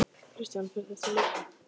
Kristján: Fer þessi líka?